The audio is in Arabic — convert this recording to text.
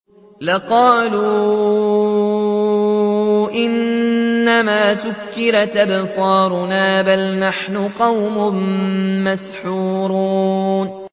لَقَالُوا إِنَّمَا سُكِّرَتْ أَبْصَارُنَا بَلْ نَحْنُ قَوْمٌ مَّسْحُورُونَ